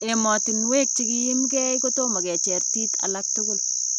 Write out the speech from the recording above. Emotunwek chekiyimkee kotomo kocheer tiit alak tukul .